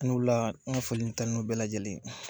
Ani wula n foli ni tanun bɛɛ bɛlajɛlen ye